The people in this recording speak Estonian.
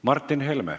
Martin Helme.